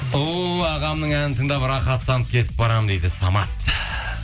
о ағамның әнін тыңдап рахаттанып кетіп барамын дейді самат